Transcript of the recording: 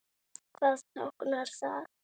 Hvað táknar það?